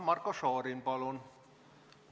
Marko Šorin, palun!